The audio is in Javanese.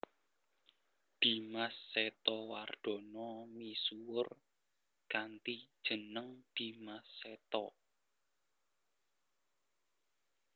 Dimas Setowardana misuwur kanthi jeneng Dimas Seto